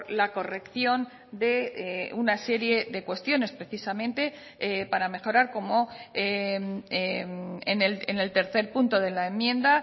la corrección de una serie de cuestiones precisamente para mejorar cómo en el tercer punto de la enmienda